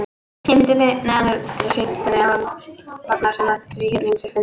Á myndinni að neðan er sýnt hvernig hornasumma þríhyrnings er fundin.